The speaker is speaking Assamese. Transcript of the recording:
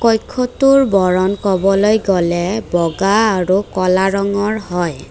কক্ষ্যটোৰ বৰণ কবলৈ গ'লে বগা আৰু ক'লা ৰঙৰ হয়।